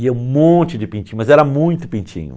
E um monte de pintinho, mas era muito pintinho.